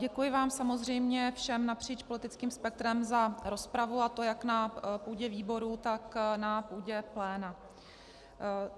Děkuji vám samozřejmě všem napříč politickým spektrem za rozpravu, a to jak na půdě výboru, tak na půdě pléna.